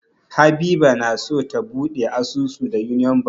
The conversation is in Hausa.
Habiba na so ta buɗe asusu da Union Bank.